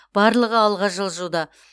барлығы алға жылжуда